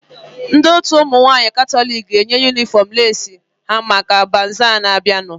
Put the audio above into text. Ndị otu ụmụ nwaanyị katọliki ga-eyi yunifọm leesi ha maka bazaa na-abianu